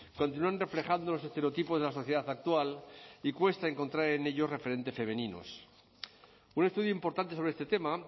continúan reflejando los estereotipos de la sociedad actual y cuesta encontrar en ellos referentes femeninos un estudio importante sobre este tema